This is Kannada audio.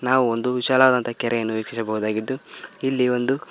ನಾವು ಒಂದು ವಿಶಾಲವಾದಂತ ಕೆರೆಯನ್ನು ವೀಕ್ಷಿಸಬಹುದಾಗಿದ್ದು ಇಲ್ಲಿ ಒಂದು--